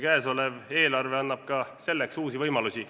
Käesolev eelarve annab ka selleks uusi võimalusi.